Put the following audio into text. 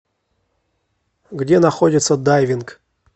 где находится дайвинг